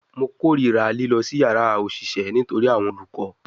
Mo korira lilọ si yara oṣiṣẹ nitori awọn olukọ